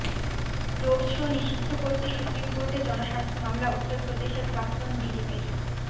road show নিষিদ্ধ করতে supreme কোর্টে জনস্বার্থ মামলা উত্তর প্রদেশের প্রাক্তন ডিজিপির